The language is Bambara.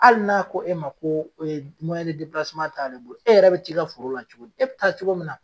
Hali n'a ko e ma ko t'ale bolo, e yɛrɛ bɛ t'i ka foro la cogo di? E bɛ taa cogo min na